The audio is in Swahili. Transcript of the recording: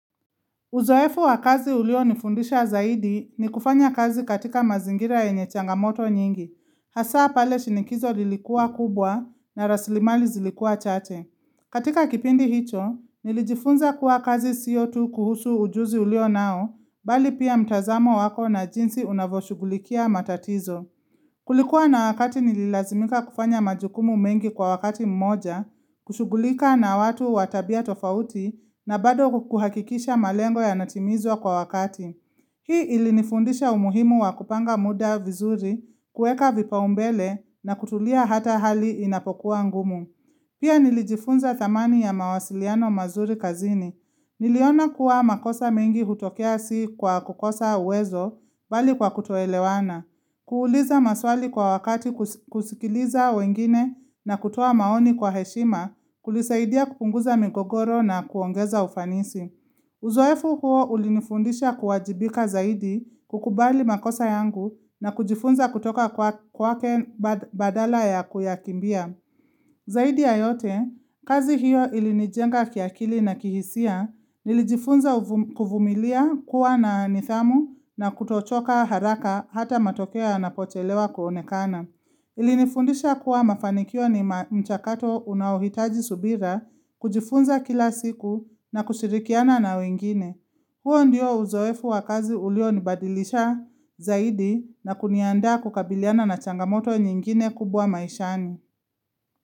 Uzoefu wakazi ulio nifundisha zaidi ni kufanya kazi katika mazingira yenye changamoto nyingi, hasa pale shinikizo lilikuwa kubwa na raslimali zilikua chache. Katika kipindi hicho, nilijifunza kuwa kazi sio tu kuhusu ujuzi ulio nao, bali pia mtazamo wako na jinsi unavoshugulikia matatizo. Kulikuwa na wakati nililazimika kufanya majukumu mengi kwa wakati mmoja, kushugulika na watu watabia tofauti na bado kuhakikisha malengo ya natimizwa kwa wakati. Hii ilinifundisha umuhimu wa kupanga muda vizuri, kueka vipa umbele na kutulia hata hali inapokuwa ngumu. Pia nilijifunza thamani ya mawasiliano mazuri kazini. Niliona kuwa makosa mengi hutokea si kwa kukosa uwezo, bali kwa kutoelewana. Kuuuliza maswali kwa wakati kusikiliza wengine na kutoa maoni kwa heshima kulisaidia kupunguza migogoro na kuongeza ufanisi. Uzoefu huo ulinifundisha kuwajibika zaidi kukubali makosa yangu na kujifunza kutoka kwa kwake bad badala ya kuyakimbia. Zaidi ya yote, kazi hiyo ilinijenga kiakili na kihisia nilijifunza uvum kuvumilia kuwa na nithamu na kutochoka haraka hata matokeo yana pochelewa kuonekana. Ilinifundisha kuwa mafanikio ni ma mchakato unaohitaji subira, kujifunza kila siku na kushirikiana na wengine. Huo ndio uzoefu wa kazi ulio nibadilisha zaidi na kuniandaa kukabiliana na changamoto nyingine kubwa maishani.